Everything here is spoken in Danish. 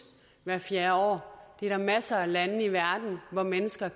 hvert fjerde år der er masser af lande i verden hvor mennesker